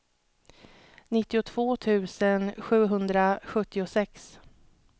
nittiotvå tusen sjuhundrasjuttiosex